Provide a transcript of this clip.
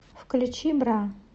включи бра